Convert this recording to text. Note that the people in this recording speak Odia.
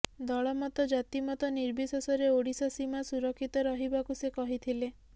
ଦଳମତ ଜାତିମତ ନିର୍ବିଶେଷରେ ଓଡିଶା ସୀମା ସୁରକ୍ଷିତ ରଖିବାକୁ ସେ କହିଥିଲେ